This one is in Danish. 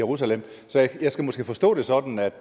jerusalem så jeg skal måske forstå det sådan at